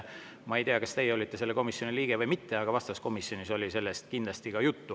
Ma ei tea, kas teie olete selle komisjoni liige või mitte, aga vastavas komisjonis oli sellest kindlasti juttu.